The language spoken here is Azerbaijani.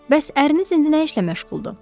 Bəs əriniz indi nə işlə məşğuldur?